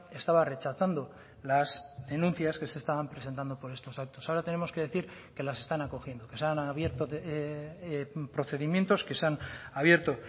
estaba rechazando las denuncias que se estaban presentando por estos actos ahora tenemos que decir que las están acogiendo que se han abierto procedimientos que se han abierto